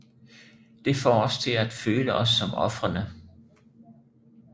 Det får os til at føle os som ofrene